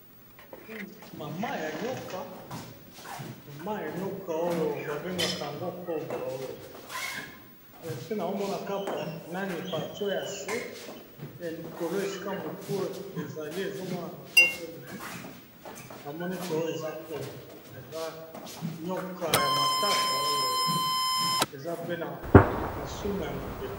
Maman ya nyoka ba bengaka yango cobra nazomona Kaka nase nayango likolo esika mutu tozokomona yango te sokî eswi yo okoki KO kufa .